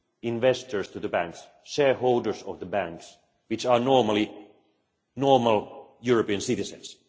investors in the banks, shareholders of the banks, who are usually normal European citizens.